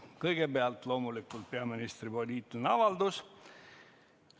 Kõigepealt loomulikult peaministri poliitiline avaldus.